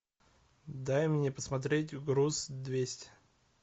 дай мне посмотреть груз двести